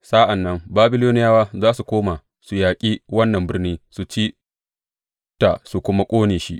Sa’an nan Babiloniyawa za su koma su yaƙi wannan birni su ci ta su kuma ƙone shi.’